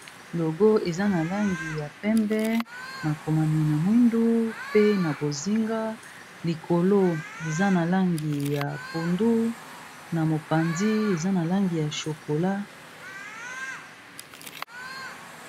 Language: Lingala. Logo eza na langi ya pembe makomami na mwindu pe na bozinga, likolo eza na langi ya pondu na mopanzi eza na langi ya chokola.